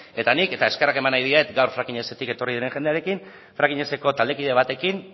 eta nik eta eskerrak eman nahi diet fracking ez etik etorri diren jendearekin fracking ez eko taldekide batekin